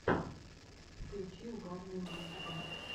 включи угарные мультики